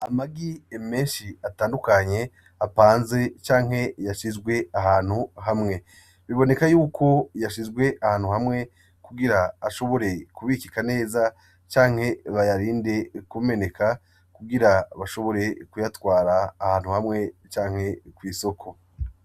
Amagi menshi atandukanye apanze canke yashizwe ahantu hamwe biboneka yuko yashizwe ahantu hamwe kugira ashobore kubikika neza canke bayarinde kumeneka kugira bashobore kuyatwara ahantu hamwe canke kw’isoko.